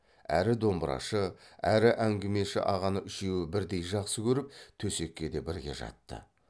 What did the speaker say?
әрі домбырашы әрі әңгімеші ағаны үшеуі бірдей жақсы көріп төсекке де бірге жатты